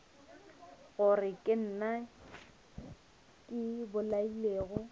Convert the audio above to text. gore ke nna ke bolailego